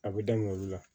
A bɛ daminɛ olu la